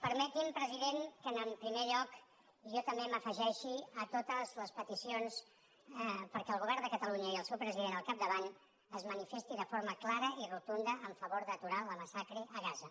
permeti’m president que en primer lloc jo també m’afegeixi a totes les peticions perquè el govern de catalunya i el seu president al capdavant es manifestin de forma clara i rotunda en favor d’aturar la massacre a gaza